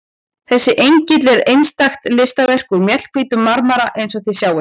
Þessi engill er einstakt listaverk úr mjallhvítum marmara eins og þið sjáið.